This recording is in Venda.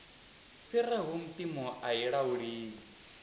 fhiraho mpimo a tshi lauleli